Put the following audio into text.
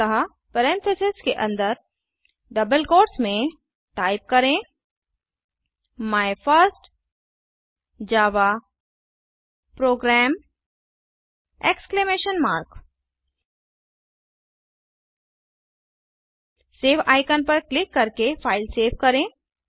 अतः पेरेंथीसेस के अंदर डबल क्वोट्स में टाइप करें my first Java program exclamation mark save icon पर क्लिक करके फ़ाइल सेव करें